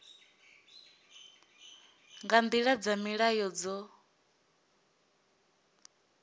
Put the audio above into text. nga nḓila dza mulayo dzo